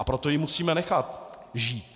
A proto ji musíme nechat žít.